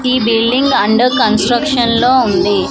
ఈ building under construction లో ఉంది.